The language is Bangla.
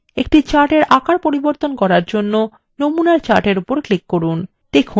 একটি chartfor আকার পরিবর্তন করার জন্য নমুনা chart for উপর click করুন